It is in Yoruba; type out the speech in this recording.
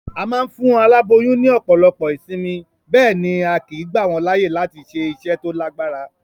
A ma n fún aláboyún ní òpòlopo ìsinmi, béèni a kìí gbà wón láàyè láti siṣẹ́ to lágbára